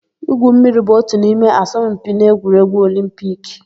Igwu mmiri bụ ótù n'ime asọmpi n'egwuregwu Olimpiki.